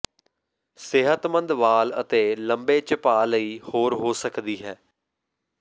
ਸਿਹਤਮੰਦ ਵਾਲ ਅਤੇ ਲੰਬੇ ਝਪਾ ਲਈ ਹੋਰ ਹੋ ਸਕਦੀ ਹੈ